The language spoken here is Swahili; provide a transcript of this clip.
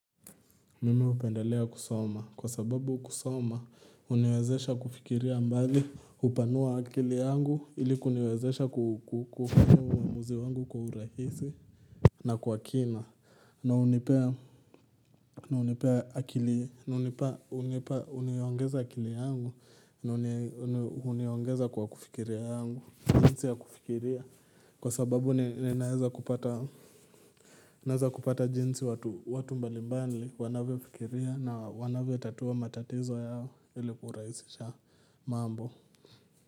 Mimi upendelea kusoma kwa sababu kusoma uniwezesha kufikiria mbali hupanua akili yangu ili kuniwezesha kukukumu uamuzi wangu kwa urahisi na kwa kina na unipea uniongeza akili yangu na uniongeza kwa kufikiria yangu, jinsi ya kufikiria kwa sababu ninaweza kupata naeza kupata jinsi watu mbalimbali wanavyofikiria na wanavyotatua matatizo yao ili kurahisisha mambo.